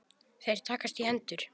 Þeir takast í hendur.